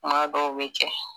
kuma dɔw be kɛ